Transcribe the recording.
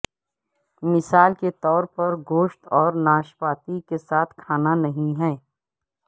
مثال کے طور پر گوشت اور ناشپاتی کے ساتھ کھانا نہیں ہے